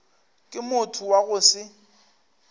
ke motho wa go se